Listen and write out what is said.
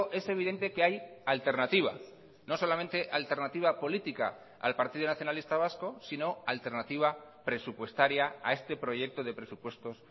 es evidente que hay alternativa no solamente alternativa política al partido nacionalista vasco sino alternativa presupuestaria a este proyecto de presupuestos